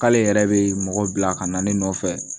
K'ale yɛrɛ bɛ mɔgɔ bila ka na ne nɔfɛ